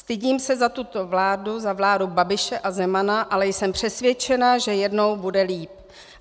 Stydím se za tuto vládu, za vládu Babiše a Zemana, ale jsem přesvědčena, že jednou bude líp.